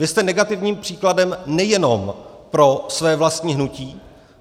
Vy jste negativním příkladem nejenom pro své vlastní hnutí.